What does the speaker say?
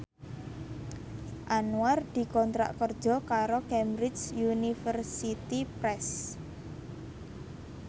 Anwar dikontrak kerja karo Cambridge Universiy Press